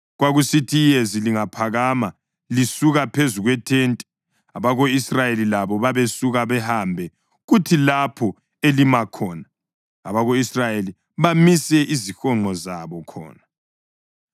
Kwakusithi iyezi lingaphakama lisuka phezu kwethente, abako-Israyeli labo babesuka bahambe kuthi lapho elima khona, abako-Israyeli bamise izihonqo zabo khona.